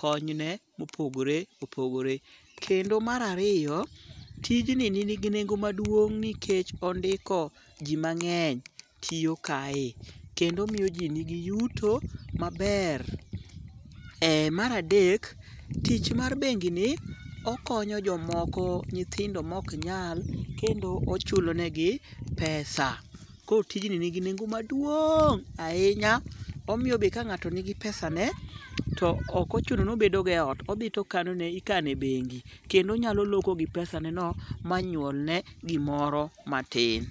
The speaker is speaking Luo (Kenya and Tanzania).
konyne mopogore opogore. Kendo mar ariyo, tijni nigi nengo maduong' nikech ondiko ji mang'eny tiyo kae. Kendo miyo ji nigi yuto maber. Mar adek, tich mar bengini okonyo jomoko, nyithindo moknyal kendo ochulo negi pesa. Koro tijni nigi nengo maduong' ahinya . Omiyo be ka ng'ato nigi pesane, to ok ochuno nobedogo e ot. Odhi to ikano e bengi. Kendo onyalo loko gi pesaneno ma nyuolne gimoro matin.